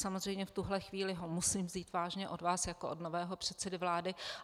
Samozřejmě v tuhle chvíli ho musím vzít vážně od vás jako od nového předsedy vlády.